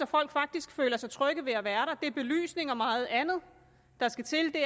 folk faktisk føler sig trygge ved at være der det er belysning og meget andet der skal til at